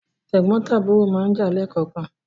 Tẹ̀gbọ́ntàbúrò máa ń jà leè kọ̀ọ̀kan